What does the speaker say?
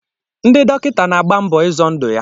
Ndị dọkịta na-agba mbọ izọ ndụ ya.